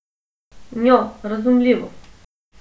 Njo, razumljivo.